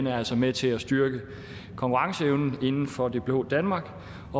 altså med til at styrke konkurrenceevnen inden for det blå danmark